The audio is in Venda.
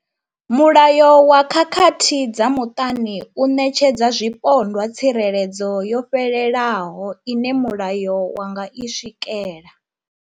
Mulayo wa khakhathi dza muṱani u ṋetshedza zwipondwa tsireledzo yo fhelelaho ine mulayo wa nga i swikela.